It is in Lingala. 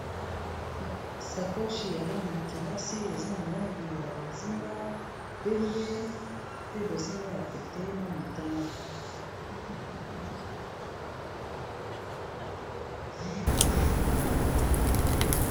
sakoshi ya bana ya kelasi eza na langi ya bozinga pembe pe bozinga ya pete na motane